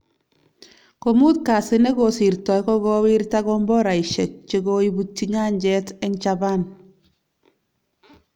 Komut kasi negosirtoi kogowirta komboraisyek chekoibutyi nyanjet eng chaban